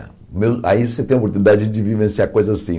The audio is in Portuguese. Aí você tem a oportunidade de vivenciar coisas assim.